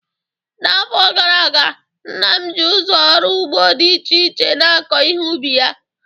N'afọ gara aga, nna m ji ụzọ ọrụ ugbo dị iche iche na-akọ ihe ubi ya